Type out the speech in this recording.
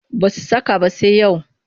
Ba su saka ba sai yau